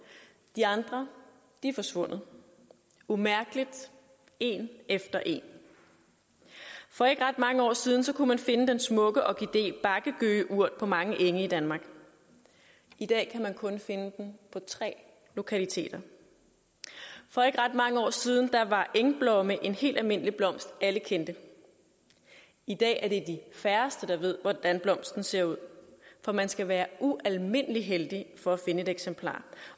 de andre er forsvundet umærkeligt en efter en for ikke ret mange år siden kunne man finde den smukke orkidé bakke gøgeurt på mange enge i danmark i dag kan man kun finde den på tre lokaliteter for ikke ret mange år siden var engblomme en helt almindelig blomst alle kendte i dag er det de færreste der ved hvordan blomsten ser ud for man skal være ualmindelig heldig for at finde et eksemplar